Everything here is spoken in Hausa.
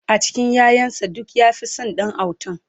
a cikin ƴaƴan sa duk ya Fi San Ɗan autan